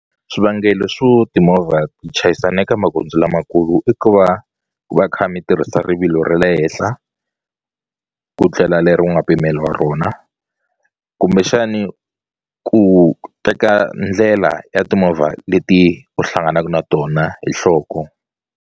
Swivangelo swo timovha ti chayisana eka magondzo lamakulu i ku va ku va kha mi tirhisa rivilo ra le henhla ku tlela leri u nga pimeliwa rona kumbexani ku teka ndlela ya timovha leti u hlanganaku na tona hi nhloko.